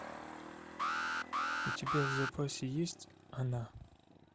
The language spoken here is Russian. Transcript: у тебя в запасе есть она